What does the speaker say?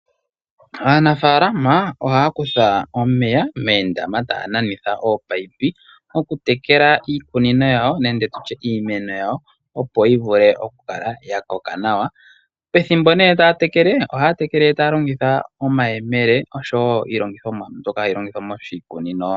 Aanafalama ohaakutha omeya meendama taananitha oopaipi, okutekela iikunino yawo nenge tutye iimeno yawo opo yivule okukala ya koka nawa, pethimbo neetaatekele ohaatekele taalongitha omaemele oshowo iilongithomwa mbyoka hai longithwa moshikunino.